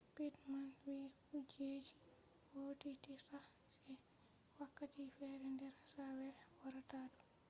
pittman vi kujeji vodititta se wakkati fere der asawere warata do